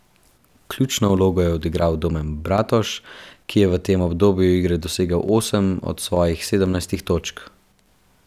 Ključno vlogo je odigral Domen Bratož, ki je v tem obdobju igre dosegel osem od svojih sedemnajstih točk.